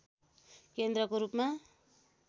केन्द्रको रूपमा